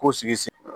Ko sigi